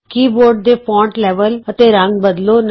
keyboard ਦੇ font level ਅਤੇ ਰੰਗ ਬਦਲੋ